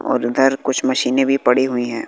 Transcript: और इधर कुछ मशीनें भी पड़ी हुई हैं।